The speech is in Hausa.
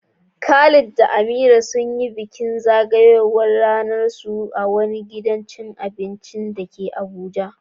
Khalid da Amira sun yi bikin zagayowar ranarsu a wani gidan cin abinci da ke Abuja.